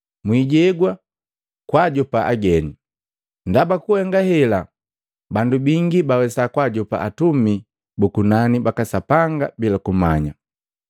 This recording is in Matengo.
Mwijewa kwaajopa ageni, ndaba ku kuhenga hela bandu bangi bawesa kwaajopa atumi bu kunani baka Sapanga bila kumanya.